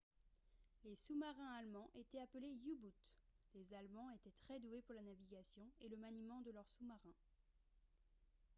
les sous-marins allemands étaient appelés u-boot les allemands étaient très doués pour la navigation et le maniement de leurs sous-marins